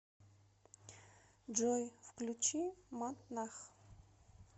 джой включи мат нах